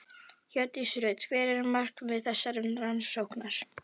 Hjördís Rut: Hvert er markmið þessarar rannsóknar?